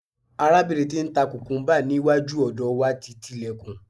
arabinrin ti n ta kukumba ni iwaju ọdọ wa ti ti ilekun